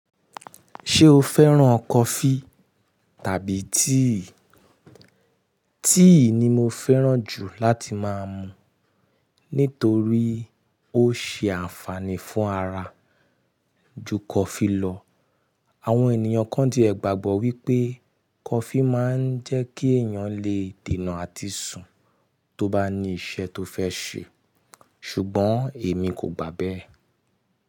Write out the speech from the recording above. Ṣé o fẹ́ràn kọfí tàbí tíì? Tíì ni mo fẹ́ràn jù láti máa mu nítorí ó ṣe ànfààní fún ara ju kọfí lọ. Àwọn ènìyàn kan ti ẹ̀ gbàgbọ́ wípé kọfí máa ń jẹ́ kí èèyàn lè dènà àti sùn tó bá ní iṣẹ́ tó fẹ́ ṣe, ṣùgbọ́n èmi kò gbà bẹ́ẹ̀.